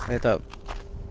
это